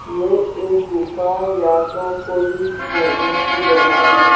ये एक गुफा या तो कोई झरने की जगह है।